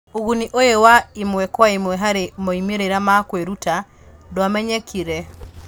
Ũguni ũyũ wa ĩmwe kwa ĩmwe harĩ moimĩrĩra ma kwĩruta ndwamenyekire.